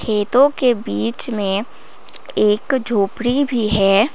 खेतों के बीच में एक झोपड़ी भी है।